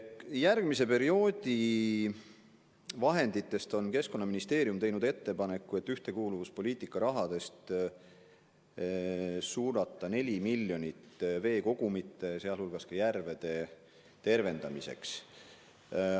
Järgmise perioodi vahendite kohta on Keskkonnaministeerium teinud ettepaneku, et ühtekuuluvuspoliitika rahast suunata 4 miljonit veekogude, sealhulgas järvede tervendamiseks.